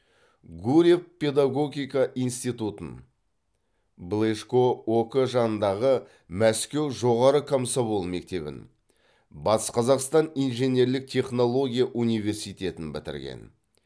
гурьев педагогика институтын блежко ок жанындағы мәскеу жоғары комсомол мектебін батыс қазақстан инженерлік технология университетін бітірген